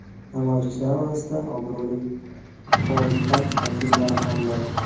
Namoyishchilar orasida obro‘li muxolifat vakillari ham bor.